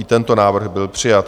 I tento návrh byl přijat.